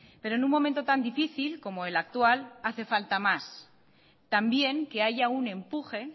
pero en un momento tan difícil como el actual hace falta más también que haya un empuje